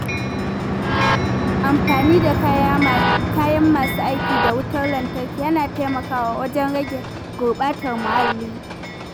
Amfani da kayan masu aiki da wutar lantarki yana taimakawa wajen rage gurɓatar muhalli.